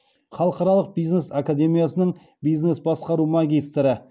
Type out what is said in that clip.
халықаралық бизнес академиясының бизнес басқару магистрі